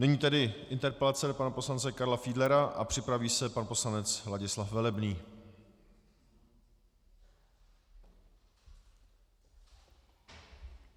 Nyní tedy interpelace pana poslance Karla Fiedlera a připraví se pan poslanec Ladislav Velebný.